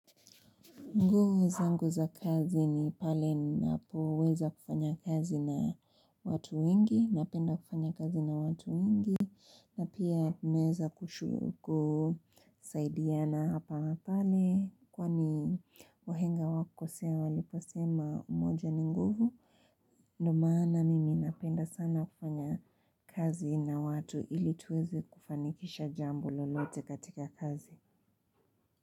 Nguza nguvu za kazi ni pale napoweza kufanya kazi na watu wengi, napenda kufanya kazi na watu wengi, na pia naweza kushu ku, saidiana hapa na hapale, kwani wahenga hawakukosea, walipo sema umoja ni nguvu. Ndo maana mimi napenda sana kufanya kazi na watu ili tuweze kufanikisha jambo lolote katika kazi.